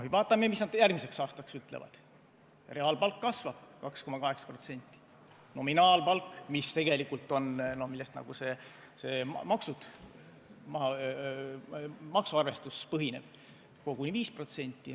Vaatame, mis nad järgmiseks aastaks ütlevad: reaalpalk kasvab 2,8%, nominaalpalk, millel maksuarvestus põhineb, koguni 5%.